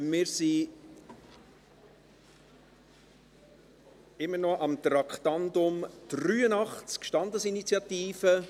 Wir sind immer noch beim Traktandum 83, Standesinitiative.